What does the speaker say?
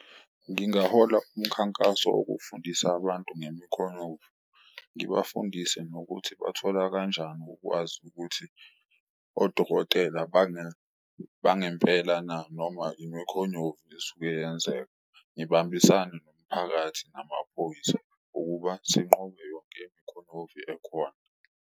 Ngingahola umkhankaso wokufundisa abantu ngemikhonyovu, ngibafundise nokuthi bathola kanjani ukwazi ukuthi odokotela bangempela na noma imikhonyovu esuke yenzeka. Ngibambisane nomphakathi namaphoyisa ukuba sinqobe yonke imikhonyovi ekhona.